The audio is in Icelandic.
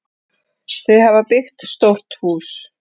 Þau hafa byggt stórt hús.